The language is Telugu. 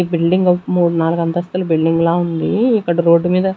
ఈ బిల్డింగ్ ఒక మూడు నాలుగు అంతస్తుల బిల్డింగ్ ల ఉంది ఇక్కడ రోడ్డు మీద.